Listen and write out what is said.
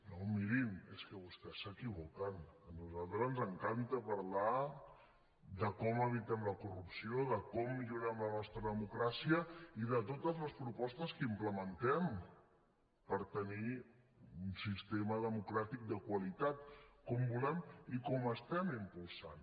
no mirin és que vostès s’equivoquen a nosaltres ens encanta parlar de com evitem la corrupció de com millorem la nostra democràcia i de totes les propostes que implementem per tenir un sistema democràtic de qualitat com volem i com estem impulsant